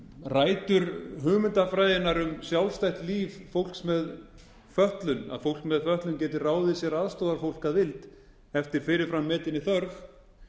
rætur hugmyndafræðinnar um sjálfstætt líf fólks með fötlun að fólk með fötlun geti ráðið sér aðstoðarfólk að vild eftir fyrirfram metinni þörf